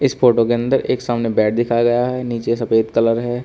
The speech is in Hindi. इस फोटो के अंदर एक सामने बेड दिखाया गया है नीचे सफेद कलर है।